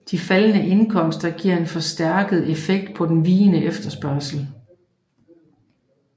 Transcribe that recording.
De faldende indkomster giver en forstærket effekt på den vigende efterspørgsel